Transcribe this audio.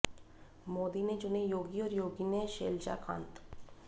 मोदी ने चुने योगी और योगी ने शैलजाकांत